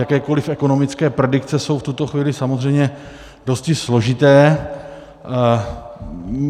Jakékoli ekonomické predikce jsou v tuto chvíli samozřejmě dosti složité.